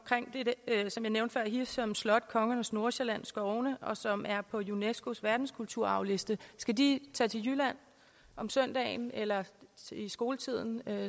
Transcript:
hirschholm slot kongernes nordsjælland skovene som er på unescos verdenskulturarvsliste skal de tage til jylland om søndagen eller i skoletiden